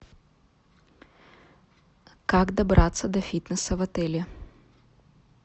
как добраться до фитнеса в отеле